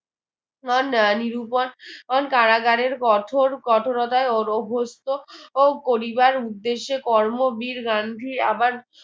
নিরুপন কারাগারের কঠোর কঠোরতায় অ ~অভস্ত ও করিবার উদ্দেশে কর্মবীর গান্ধী আবার